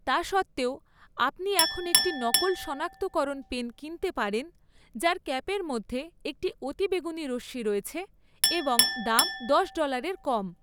তা সত্ত্বেও, আপনি এখন একটি নকল শনাক্তকরণ পেন কিনতে পারেন যার ক্যাপের মধ্যে একটি অতিবেগুনি রশ্মি রয়েছে এবং দাম দশ ডলার এর কম৷